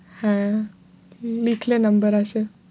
হ্যাঁ লিখলে number আসে